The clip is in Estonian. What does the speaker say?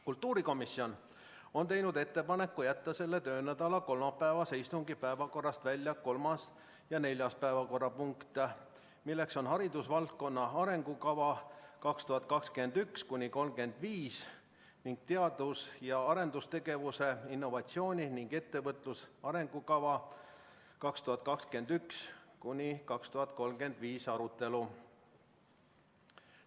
Kultuurikomisjon on teinud ettepaneku jätta selle töönädala kolmapäevase istungi päevakorrast välja kolmas ja neljas päevakorrapunkt, st haridusvaldkonna arengukava 2021–2035, samuti teadus- ja arendustegevuse, innovatsiooni ning ettevõtluse arengukava 2021–2035 arutelu.